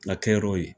La kɛyɔrɔ ye